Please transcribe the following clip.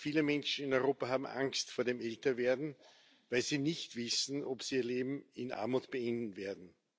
Viele Menschen in Europa haben Angst vor dem Älterwerden, weil sie nicht wissen, ob sie ihr Leben in Armut beenden werden.